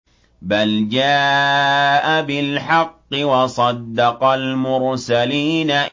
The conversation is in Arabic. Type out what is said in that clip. بَلْ جَاءَ بِالْحَقِّ وَصَدَّقَ الْمُرْسَلِينَ